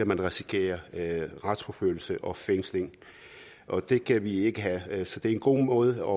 man risikere retsforfølgelse og fængsling og det kan vi ikke have så det er en god måde